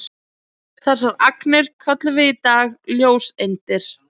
Þessar agnir köllum við í dag ljóseindir.